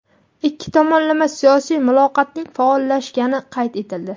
Ikki tomonlama siyosiy muloqotning faollashgani qayd etildi.